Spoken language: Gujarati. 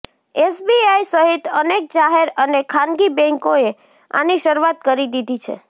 એસબીઆઈ સહિત અનેક જાહેર અને ખાનગી બેન્કોએ આની શરૂઆત કરી દીધી છે